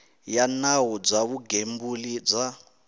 ya nawu bya vugembuli bya